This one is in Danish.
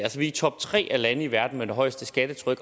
i top tre af lande i verden med det højeste skattetryk